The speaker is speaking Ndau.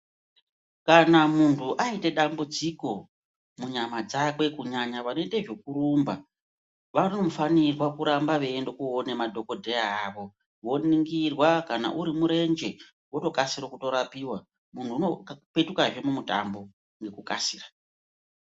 Kana muntu aite dambudziko munyama dzakwe kunyanya vanoite zvekurumba vanofanirwa kuramba veiende koona madhogodheya avo. Voningirwa kana uri murenje votokasire kutorapiva muntu unopetukahe mumutambo ngekukasira.